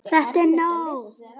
ÞETTA ER NÓG!